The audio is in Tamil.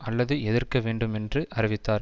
அல்லது எதிர்க்க வேண்டும் என்று அறிவித்தார்